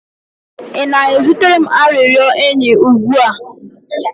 Ị na-ezitere m arịrịọ enyi ugbu a?